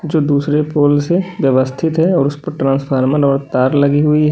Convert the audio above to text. जो दूसरे पोल से व्यवस्थित है और उस पर ट्रांसफार्मर और तार लगी हुई है।